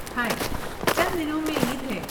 ہائے، چند دنوں میں عید ہے۔